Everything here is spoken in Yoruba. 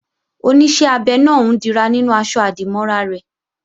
Oníṣẹ́ abẹ náà ń dira nínú aṣọ-àdìmọ́ra rẹ̀